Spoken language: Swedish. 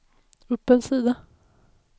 upp en sida